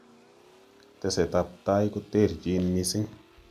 Teset ab tai koterterchin mising'